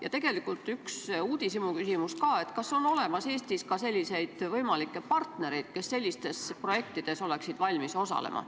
Ja tegelikult on mul ka üks uudishimuküsimus: kas Eestis leidub selliseid partnereid, kes oleksid valmis sellistes projektides osalema?